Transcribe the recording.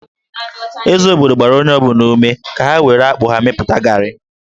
Eze obodo gbara onye ọ bụla ume ka ha were akpụ ya mepụta gari